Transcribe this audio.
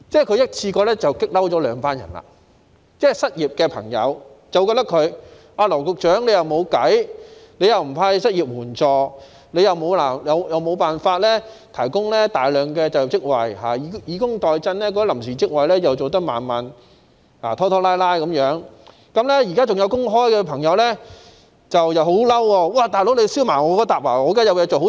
他一次過把兩群人激怒，失業的朋友覺得他既沒有解決辦法，又不派發失業援助，亦無法提供大量就業職位，以工代賑的臨時職位又處理得拖拖拉拉；而現時仍有工作的朋友亦感到很生氣，"'老兄'，怎麼拉他們下水？